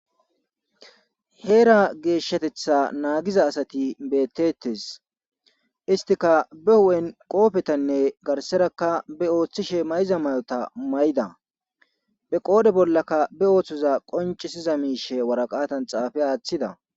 heera geeshshatetha naagiza asati bettettes istika be hu'en qoofetanne garserakka be ooththishe mayza mayota mayda be qoodhe bollaka be ooththoza qoncisiza miishe waraqatan xaafe aaththida